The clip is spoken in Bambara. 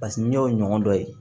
Paseke n'i y'o ɲɔgɔn dɔ ye